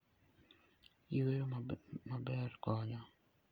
Yueyo maber konyo.